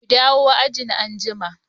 Ku dawo ajin anjima.